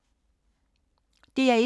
DR1